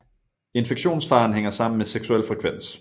Infektionsfaren hænger sammen med seksuel frekvens